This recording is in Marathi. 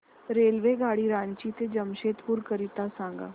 रेल्वेगाडी रांची ते जमशेदपूर करीता सांगा